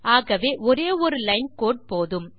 ஆகவே ஒரே ஒரு லைன் கோடு போதும்